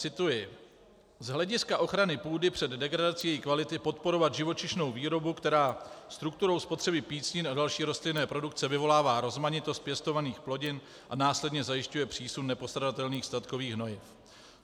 Cituji: "Z hlediska ochrany půdy před degradací její kvality podporovat živočišnou výrobu, která strukturou spotřeby pícnin a další rostlinné produkce vyvolává rozmanitost pěstovaných plodin a následně zajišťuje přísun nepostradatelných statkových hnojiv."